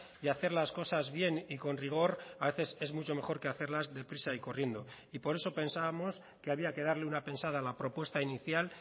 y hacer las cosas bien y con rigor a veces es mucho mejor que hacerlas deprisa y corriendo y por eso pensábamos que había que darle una pensada a la propuesta inicial